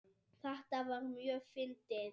Þetta var mjög fyndið.